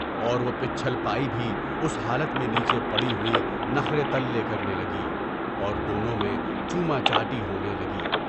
اور وہ پچّھل پائی بھی اُس حالت میں پچھے پڑی ہوئی نخرے تلے کرنے لگی اور دونوں میں چوما چاٹی ہونے لگا۔